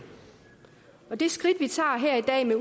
og det skridt vi tager her i dag